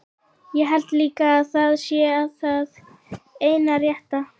Ég held líka að það sé það eina rétta.